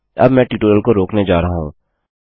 अब मैं ट्यूटोरियल को रोकने जा रहा हूँ